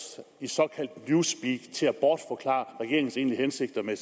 i et såkaldt newspeak til at bortforklare regeringens egentlige hensigter med